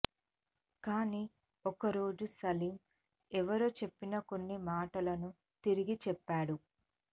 కానీ ఒక రోజు సలీమ్ ఎవరో చెప్పిన కొన్ని మాటలను తిరిగి చెప్పాడు